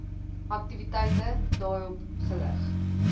aktiwiteite daarop gerig